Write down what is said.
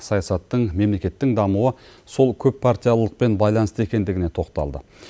саясаттың мемлекеттің дамуы сол көп партиялылықпен байланысты екендігіне тоқталды